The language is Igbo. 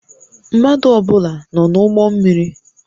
Mmadụ ọ bụla nọ n'ụgbọ mmiri?